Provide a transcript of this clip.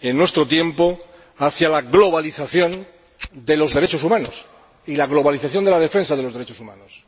en nuestro tiempo hacia la globalización de los derechos humanos y la globalización de la defensa de los derechos humanos.